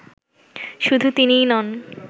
শুধু তিনিই নন